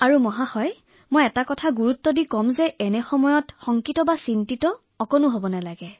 আৰু মহোদয় মই আটাইতকৈ ডাঙৰ কথাটো কব বিচাৰো যে এই কেইটা দিনত আতংকিত হোৱাৰ কোনো প্ৰয়োজন নাই